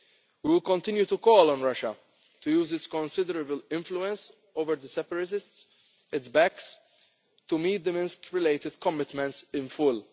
crisis. We will continue to call on Russia to use its considerable influence over the separatists it backs to meet the Minsk related commitments